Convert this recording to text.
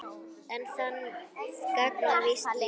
En það gagnast víst lítið.